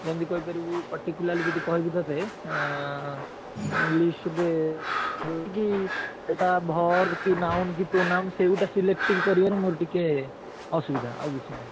ଯେମତି କହିପାରିବୁ particularly ଯଦି କହିବି ତତେ ଏଁ English ରେ ଯେମିତିକି ଏଇଟା verb କି noun କି pronoun ସେଇଗୋଟା selective କରିବାରେ ମୋର ଟିକେ ଅସୁବିଧା ଆଉ କିଛି ନାହିଁ।